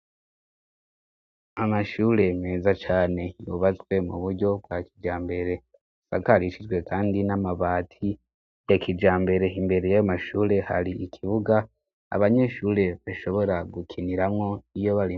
Amashure meza cane yubatswe mu buryo bwa kijambere sakarishijwe, kandi n'amabati yakijambere imbere y' amashure hari ikibuga abanyeshure bashobora gukiniramwo iyo bari.